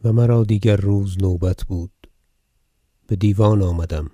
مرگ بو نصر مشکان و مرا دیگر روز نوبت بود بدیوان آمدم